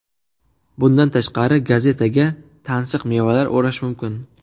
Bundan tashqari, gazetaga tansiq mevalar o‘rash mumkin.